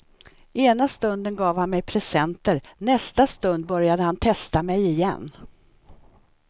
Ena stunden gav han mig presenter, nästa stund började han testa mig igen.